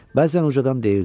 Bəzən ucadan deyirdi: